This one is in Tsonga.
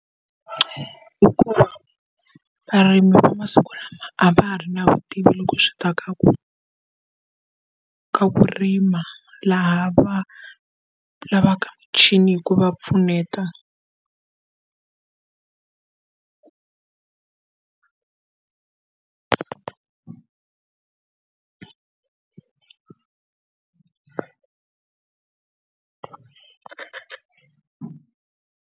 Hikuva varimi va masiku lama a va ha ri na vutivi loko swi ta ka ku ka ku rima laha va lavaka muchini hi ku va pfuneta.